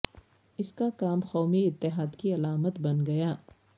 اس کا کام قومی اتحاد کی علامت بن گیا